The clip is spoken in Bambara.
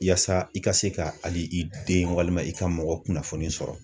Yaasa , i ka se ka hali i den walima i ka mɔgɔ kunnafoni sɔrɔ.